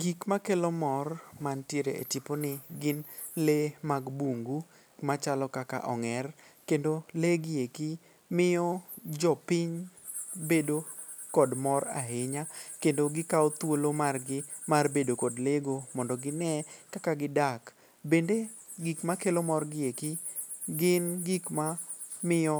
Gik makelo mor mantiere e tiponi gin lee mag bungu machalo kaka ong'er kendo lee gi eki miyo jopiny bedo kod mor ahinya kendo gikawo thuolo margi mar bedo kod lee go mondo gine kaka gidak. Bende gik makelo morgi eki gin gikma miyo